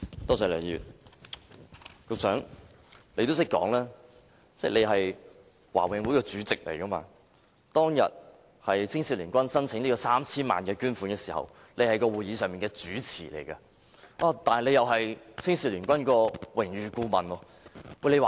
局長，你提到你是華永會主席，而當天青總提出 3,000 萬元的捐款申請時，你亦正在主持會議，同時身兼青總榮譽顧問。